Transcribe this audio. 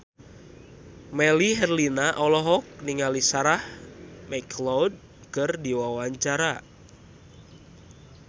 Melly Herlina olohok ningali Sarah McLeod keur diwawancara